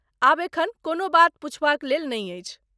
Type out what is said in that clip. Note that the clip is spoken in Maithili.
आब एखन कोनो बात पुछबाक लेल नै अछि।